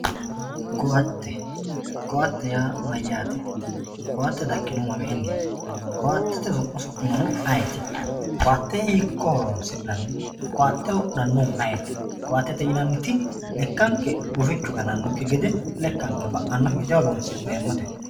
Koatte, koatte yaa mayate ? koatte daginohu maminiti? Koatte oso'linohu ayiti? Koatte hiikko horonsi'nanni ? Koatte wodhanohu ayeeti? Koattete yineemmoti lekkanke gufichu gananokki gede lekkanke ba'anokki gede horonsi'neemmote.